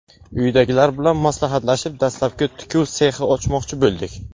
Uydagilar bilan maslahatlashib, dastlab tikuv sexi ochmoqchi bo‘ldik.